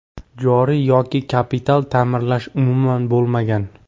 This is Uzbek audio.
Joriy yoki kapital ta’mirlash umuman bo‘lmagan.